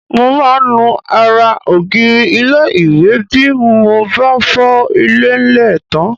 Mo máa ń nu ara ògiri ilé-ìwẹ̀ bí mo bá fọ ilẹ̀ńlẹ̀ tán